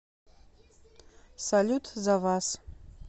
салют за вас